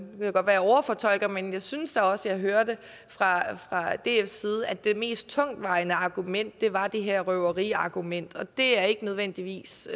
overfortolker men jeg synes da også jeg hørte fra dfs side at det mest tungtvejende argument var det her røveriargument og det er ikke nødvendigvis